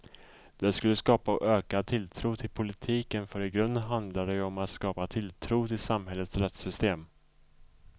Det skulle skapa ökad tilltro till politiken för i grunden handlar det ju om att skapa tilltro till samhällets rättssystem.